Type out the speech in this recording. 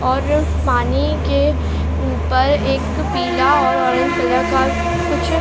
और पानी के ऊपर एक पीला और ऑरेंज कलर का कुछ --